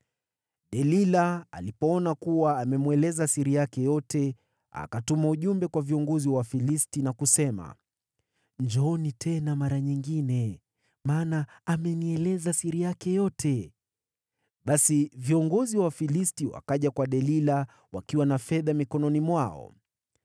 Delila alipoona kuwa amemweleza siri yake yote, akatuma ujumbe kwa viongozi wa Wafilisti na kusema, “Njooni tena mara nyingine, maana amenieleza siri yake yote.” Basi viongozi wa Wafilisti wakaja kwa Delila, wakiwa na fedha mikononi mwao.